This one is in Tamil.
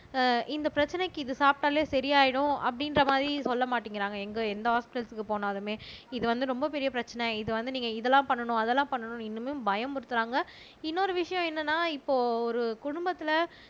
ஆஹ் இந்த பிரச்சனைக்கு இது சாப்பிட்டாலே சரியாயிடும் அப்படின்ற மாரி சொல்ல மாட்டேங்கிறாங்க எங்க எந்த ஹொஸ்பிடல்ஸ்க்கு போனாலுமே இது வந்து ரொம்ப பெரிய பிரச்சனை இது வந்து நீங்க இதெல்லாம் பண்ணணும் அதெல்லாம் பண்ணணும்ன்னு இன்னுமே பயமுறுத்துறாங்க இன்னொரு விஷயம் என்னன்னா இப்போ ஒரு குடும்பத்தில